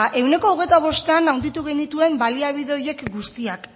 ehuneko hogeita bostean handitu genituen baliabide horiek guztiak